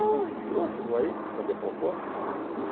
Eh ele entrou, chegou aí, quis fazer a proposta, colhi tudo.